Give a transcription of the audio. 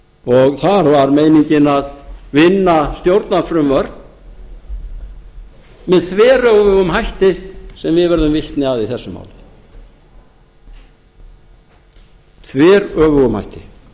og þar var meiningin að vinna stjórnarfrumvörp með þveröfugum hætti sem við urðum vitni að í þessu máli þveröfugum hætti